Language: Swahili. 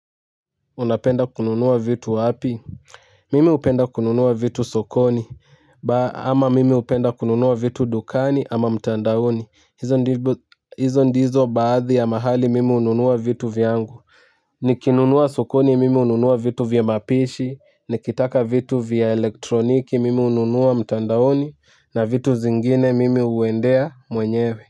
Unapenda kununua vitu wapi mimi hupenda kununua vitu sokoni ba ama mimi hupenda kununua vitu dukani ama mtandaoni hizo ndizo baadhi ya mahali mimi ununua vitu vyangu nikinunua sokoni mimi ununua vitu vya mapishi nikitaka vitu vya elektroniki mimi hununua mtandaoni na vitu zingine mimi huendea mwenyewe.